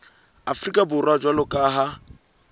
afrika borwa jwalo ka ha